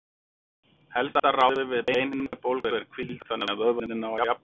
helsta ráðið við beinhimnubólgu er hvíld þannig að vöðvarnir nái að jafna sig